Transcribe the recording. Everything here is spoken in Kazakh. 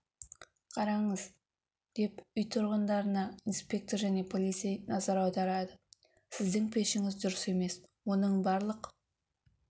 қараңыз деп үй тұрғынына инспектор және полицей назар аударады сіздің пешіңіз дұрыс емес оның барлық